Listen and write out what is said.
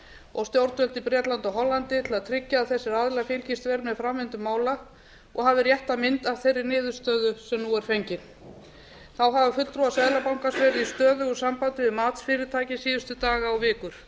og stjórnvöld í bretlandi og hollandi til að tryggja að þessir aðilar fylgist vel með framvindu mála og hafi rétta mynd af þeirri niðurstöðu sem nú er fengin þá hafa fulltrúar seðlabankans verið í stöðugu sambandi við matsfyrirtæki síðustu daga og vikur